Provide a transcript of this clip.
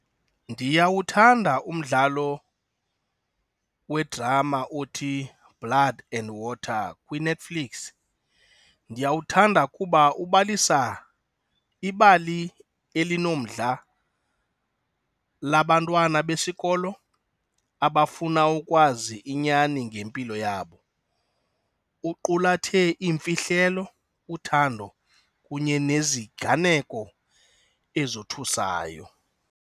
Ndiyawuthanda umdlalo we-drama othiBlood And Water kwiNetflix. Ndiyawuthanda kuba ubalisa ibali elinomdla labantwana besikolo abafuna ukwazi inyani ngempilo yabo. Uqulathe iimfihlelo, uthando kunye neziganeko ezothusayo.